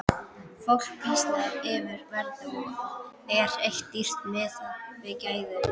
Fólk býsnast yfir verði, er þetta dýrt miðað við gæði?